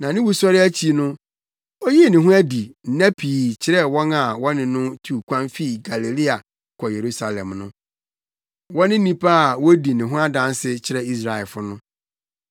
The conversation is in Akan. na ne wusɔre akyi no, oyii ne ho adi nna pii kyerɛɛ wɔn a na wɔne no tu kwan fi Galilea kɔ Yerusalem no. Wɔne nnipa a wodi ne ho adanse kyerɛ Israelfo no.